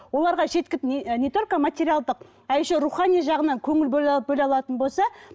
оларға не і не только материалдық а еще рухани жағынан көңіл бөле алатын болса